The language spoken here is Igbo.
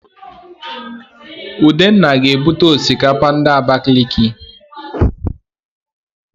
Udenna ga-ebute Osikapa ndi Abakiliki